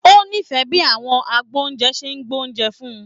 O n'ifẹ bi àwọn agboúnjẹ ṣe gbé oúnjẹ fún-ùn.